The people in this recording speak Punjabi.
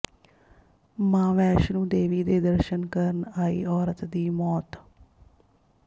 ਮਾਂ ਵੈਸ਼ਨੋ ਦੇਵੀ ਦੇ ਦਰਸ਼ਨ ਕਰਨ ਆਈ ਔਰਤ ਦੀ ਮੌਤ